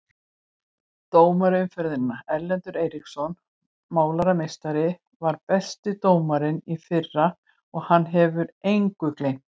Dómari umferðarinnar: Erlendur Eiríksson Málarameistarinn var besti dómarinn í fyrra og hann hefur engu gleymt.